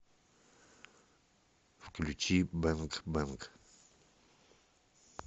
включи бэнг бэнг